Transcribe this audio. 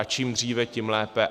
A čím dříve, tím lépe.